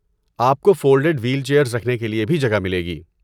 آپ کو fold wheel chairs رکھنے کے لیے بھی جگہ ملے گی۔